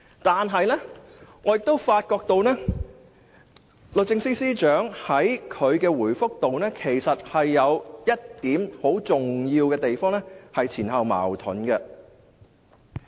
但是，我發覺律政司司長在他的回覆中有一點很重要的地方，是前後矛盾的。